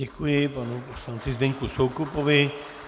Děkuji panu poslanci Zdeňku Soukupovi.